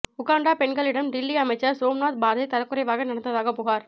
Uganda பெண்களிடம் டில்லி அமைச்சர் சோம்நாத் பார்தி தரக்குறைவாக நடந்ததாக புகார்